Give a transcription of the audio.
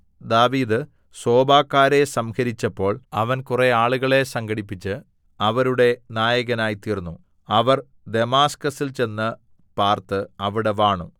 ദാവീദ് സോബക്കാരെ സംഹരിച്ചപ്പോൾ അവൻ കുറെആളുകളെ സംഘടിപ്പിച്ച് അവരുടെ നായകനായ്തീർന്നു അവർ ദമാസ്കസിൽ ചെന്ന് പാർത്ത് അവിടെ വാണു